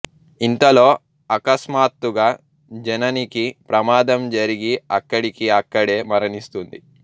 ఇంతలో అకస్మాత్తుగా జననికి ప్రమాదం జరిగి అక్కడికి అక్కడే మరణిస్తుంది